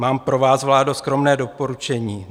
Mám pro vás, vládo, skromné doporučení.